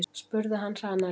spurði hann hranalega.